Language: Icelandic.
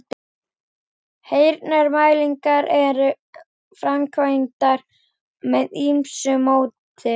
Heyrnarmælingar eru framkvæmdar með ýmsu móti.